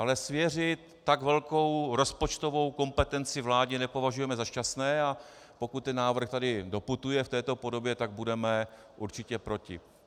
Ale svěřit tak velkou rozpočtovou kompetenci vládě nepovažujeme za šťastné, a pokud ten návrh sem doputuje v této podobě, tak budeme určitě proti.